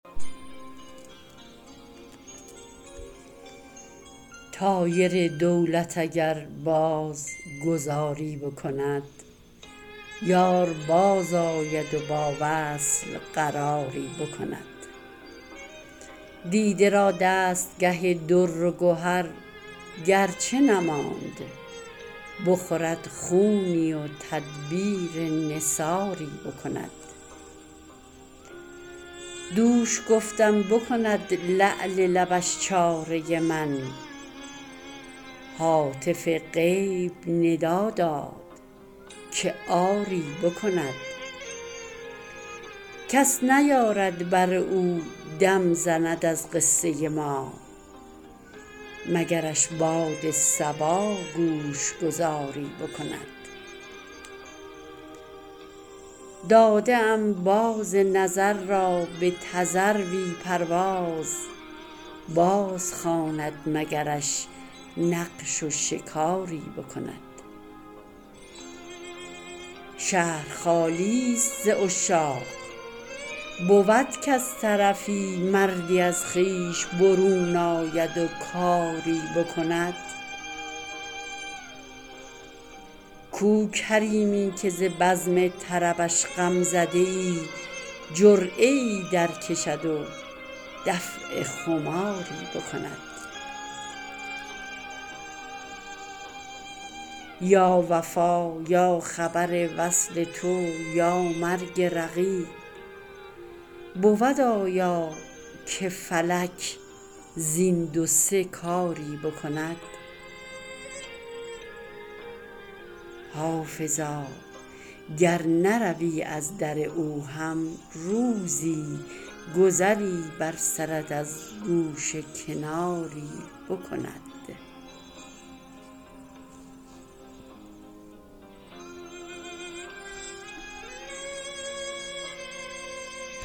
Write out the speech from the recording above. طایر دولت اگر باز گذاری بکند یار بازآید و با وصل قراری بکند دیده را دستگه در و گهر گر چه نماند بخورد خونی و تدبیر نثاری بکند دوش گفتم بکند لعل لبش چاره من هاتف غیب ندا داد که آری بکند کس نیارد بر او دم زند از قصه ما مگرش باد صبا گوش گذاری بکند داده ام باز نظر را به تذروی پرواز بازخواند مگرش نقش و شکاری بکند شهر خالی ست ز عشاق بود کز طرفی مردی از خویش برون آید و کاری بکند کو کریمی که ز بزم طربش غم زده ای جرعه ای درکشد و دفع خماری بکند یا وفا یا خبر وصل تو یا مرگ رقیب بود آیا که فلک زین دو سه کاری بکند حافظا گر نروی از در او هم روزی گذری بر سرت از گوشه کناری بکند